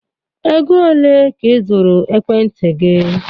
Ego ole ka ị zụrụ ekwentị gị?